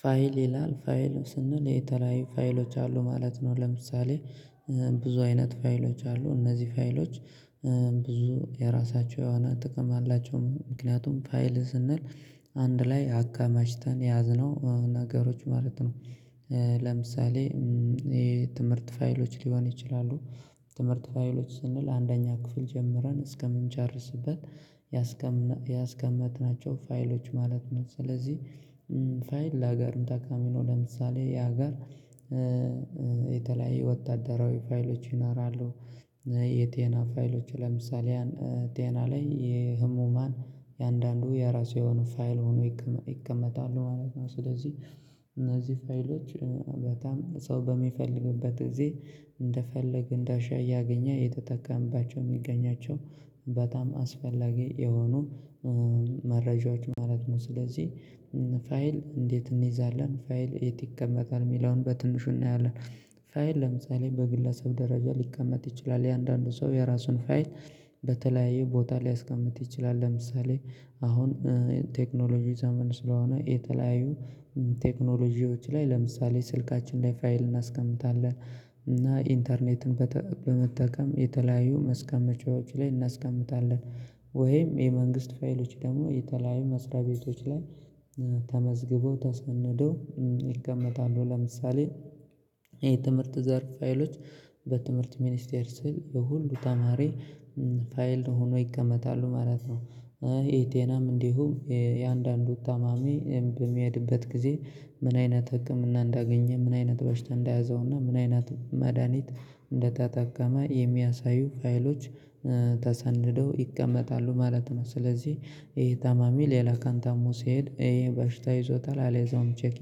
ፋይል ይላል ፋይል ስንል የተለያዩ ፋይሎች አሉ ማለት ነው። ለምሳሌ ብዙ አይነት ፋይሎች አሉ፤ እነዚህ ፋይሎች ብዙ የራሳቸው የሆነ ጥቅም አላቸው። ምክንያቱም ፋይል ስንል አንድ ላይ አከማችተን የያዝነው ነገሮች ማለት ነው። ለምሳሌ የትምህርት ፋይሎች ሊሆን ይችላሉ ትምህርት ፋይሎች ስንል አንደኛ ክፍል ጀምረን እስከምንጨርስበት ያስቀመጥናቸው ፋይሎች ማለት ነው። ስለዚህ ፋይል ላገርም ተጠቃሚ ነው ለምሳሌ ያ ሀገር የተለያዩ ወታደራዊ ፋይሎች ይኖራሉ። ፋይሎች ለምሳሌ ያን ጤና ላይ የህሙማን የአንዳንዱ የራሱ የሆነ ፋይል ሆኖ ይቀመጣሉ ማለት ነው። ስለዚህ እነዚህ ፋይሎች በጣም ሰው በሚፈልግበት ጊዜ እንደፈለግን እንዳሻ እያገኘ የተጠቀመባቸው የሚገኛቸው በጣም አስፈላጊ የሆኑ መረጃዎች ማለት ነው። ስለዚህ ፋይል እንዴት እንይዛለን ፋይል የት ይቀመጣል የሚለውን በትንሹ እናያለን። ፋይል ለምሳሌ በግለሰብ ደረጃ ሊቀመጥ ይችላል የአንዳንዱ ሰው የራሱን ፋይል በተለያየ ቦታ ሊያስቀምጥ ይችላል። ለምሳሌ አሁን ቴክኖሎጂ ዘመን ስለሆነ የተለያዩ ቴክኖሎጂዎች ላይ ለምሳሌ ስልካችን ላይ ፋይል እናስቀምጣለን፤ እና ኢንተርኔትን በመጠቀም የተለያዩ ማስቀመጫዎች ላይ እናስቀምጣለን ወይም የመንግስት ፋይሎች ደግሞ የተለያዩ መስሪያ ቤቶች ላይ ተመዝግበው ተሰንደው ይቀመጣሉ። ለምሳሌ የትምህርት ዘርፍ ፋይሎች በትምህርት ሚኒስቴር ስር የሁሉ ተማሪ ፋይል ሆኖ ይቀመጣሉ ማለት ነው። የጤናም እንዲሁም የአንዳንዱ ታማሚ በሚሄድበት ጊዜ ምን አይነት ህክምና እንዳገኘ ምን አይነት በሽታ እንዳያዘውና ምን አይነት መድሃኒት እንደተጠቀመ የሚያሳዩ ፋይሎች ተሰንደው ይቀመጣሉ ማለት ነው። ስለዚህ ይሄ ታማሚ ሌላ ቀን ታሞ ሲሄድ ይሄ በሽታ ይዞታል አልያዘውም ቼክ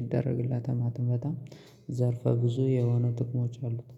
ይደረግላታል ማለት ነው። በጣም ዘርፈ ብዙ የሆነ ጥቅሞች አሉት